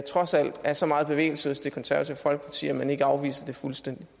trods alt er så meget bevægelse hos det konservative folkeparti at man ikke afviser det fuldstændigt